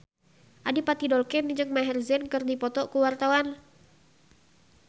Adipati Dolken jeung Maher Zein keur dipoto ku wartawan